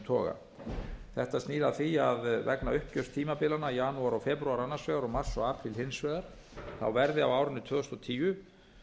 toga þetta snýr að því að vegna uppgjörstímabilanna janúar og febrúar annars vegar og mars og apríl hins vegar verði á árinu tvö þúsund og tíu